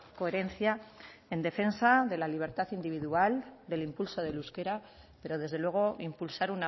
coherencia en defensa de la libertad individual del impulso del euskera pero desde luego impulsar